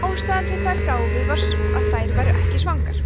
ástæðan sem þær gáfu var sú að þær væru ekki svangar